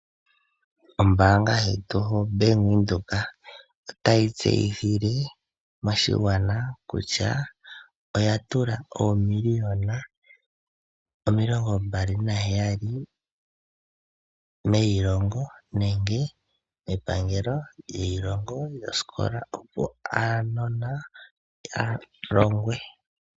Oombaanga yetu yoBank Windhoek otayi tseyithile moshigwana kutya oya tula oomiliyona omilongo mbali naheyali meyilongo opo aanona yalongwe.